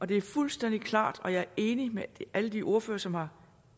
det er fuldstændig klart og jeg er enig med alle de ordførere som har